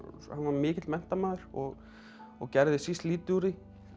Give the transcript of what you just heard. hann var mikill menntamaður og og gerði síst lítið úr því